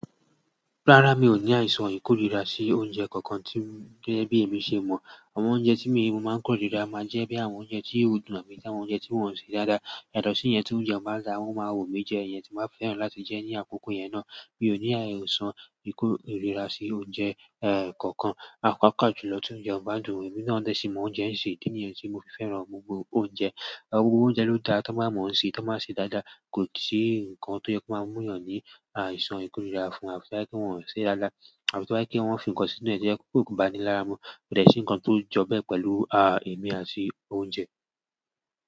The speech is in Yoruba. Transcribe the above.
Rárá, mi ò ní àìsàn ìkórìíra sí oúnjẹ kankan tí gẹ́gẹ́ bí èmi ṣe mọ̀. Àwọn oúnjẹ tí èmi máa ń kórìíra máa ń jẹ́ bí àwọn oúnjẹ tí ó dùn mi táwọn oúnjẹ tí wọ́n ń ṣe dáadáa. Ìdádọ̀ sí i yẹn tí oúnjẹ bá dáa, o máa wù mí jẹ, èyẹ́ tí máa fẹ́ràn láti jẹ́ ní àkókò yẹn náà. Mi ò ní àìsàn ìkórìíra sí oúnjẹ, eh, kankan. Àkókò julọ́ tí oúnjẹ ò bá dùn mi náà dẹ̀ sí máa ń jẹun ṣe idí níyen tí mo fi fẹ́ràn gbogbo oúnjẹ. Ọ̀pọ̀ oúnjẹ ló dáa tí wọ́n bá mọ̀ ọ́n ṣe tí wọ́n bá ṣe dáadáa. Kò sí nǹkan tó yẹ kó máa múyàn ní àìsàn ìkórìíra fún àwọn tí wáyé kí wọ́n ṣe dáadáa, àwọn tí wáyé kí wọ́n fi ǹkan sínú ẹ̀ jẹ́. Kòkò bá ni lára mọ́, kò dẹ̀ sí nǹkan tó jọ́ bẹ́ẹ̀ pẹ̀lú, a, èmi àti oúnjẹ.